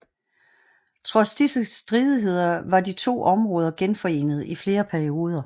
Trods disse stridigheder var de to områder genforenet i flere perioder